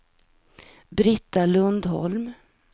Brita Lundholm